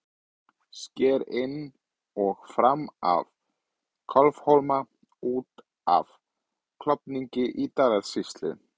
Sker inn og fram af Kálfhólma út af Klofningi í Dalasýslu.